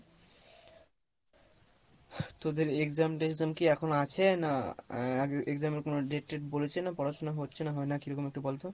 তোদের exam তেক্সাম কি এখন আছে? না আহ exam এর কোনো date টেড বলেছে? না পড়াশোনা হচ্ছে না হয় না কীরকম একটু বল তো?